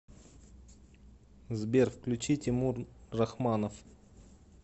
сбер включи тимур рахманов